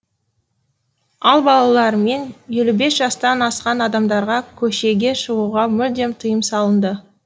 ал балалар мен елу бес жастан асқан адамдарға көшеге шығуға мүлдем тыйым салынды